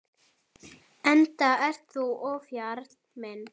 Enda ert þú ofjarl minn.